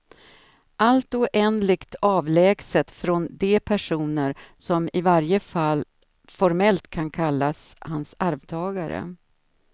Allt oändligt avlägset från de personer som i varje fall formellt kan kallas hans arvtagare.